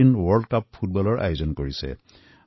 বিশ্বৰ ২৬টা দলে ভাৰতক নিজৰ ঘৰ মানি লবলৈ আগবাঢ়িছে